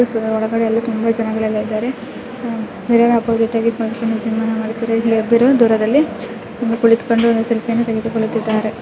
ಒಳಗಡೆ ಎಲ್ಲಾ ತುಂಬಾ ಜನಗಳು ಎಲ್ಲಾ ಇದ್ದರೆ ಆಹ್ ಮಿರ್ರರ್ ಅಪೋಸಿಟ್ ಹಾಗಿ ಇಬ್ಬರು ದೂರದಲ್ಲಿ ಇಬ್ಬರು ಕುಳಿತುಕೊಂಡು ಸೇಲ್ಫಿ ಅನ್ನು ತೆಗೆದುಕೊಳ್ಳುತ್ತಿದ್ದಾರೆ